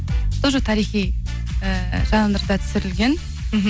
тоже тарихи ііі жанрда түсірілген